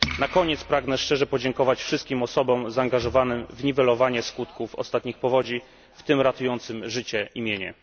Na koniec pragnę szczerze podziękować wszystkim osobom zaangażowanym w niwelowanie skutków ostatnich powodzi, w tym ratującym życie i mienie.